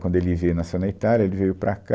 Quando ele veio, nasceu na Itália, ele veio para cá.